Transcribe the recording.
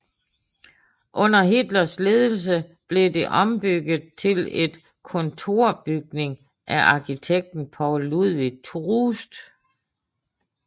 Under Hitlers ledelse blev det ombygget til et kontorbygning af arkitekten Paul Ludwig Troost